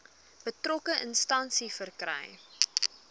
betrokke instansie verkry